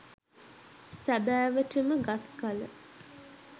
සැබෑවට ම ගත් කළ